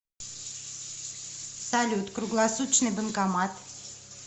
салют круглосуточный банкомат